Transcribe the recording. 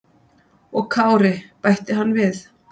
"""Og Kári, bætti hann við."""